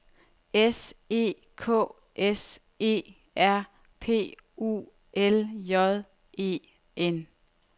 S E K S E R P U L J E N